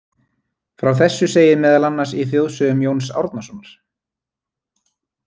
Frá þessu segir meðal annars í þjóðsögum Jóns Árnasonar.